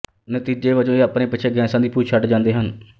ਨਤੀਜੇ ਵਜੋਂ ਇਹ ਆਪਣੇ ਪਿੱਛੇ ਗੈਸਾਂ ਦੀ ਪੂਛ ਛੱਡਦੇ ਜਾਂਦੇ ਹਨ